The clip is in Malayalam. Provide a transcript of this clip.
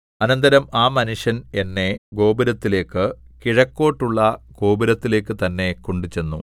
അനന്തരം ആ മനുഷ്യന്‍ എന്നെ ഗോപുരത്തിലേക്ക് കിഴക്കോട്ടുള്ള ഗോപുരത്തിലേക്കു തന്നെ കൊണ്ടുചെന്നു